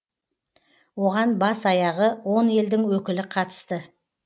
оған бас аяғы он елдің өкілі қатысты